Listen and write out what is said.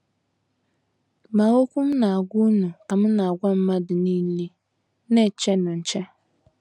Ma okwu M na - agwa unu ka M na - agwa mmadụ nile, Na - echenụ nche. ”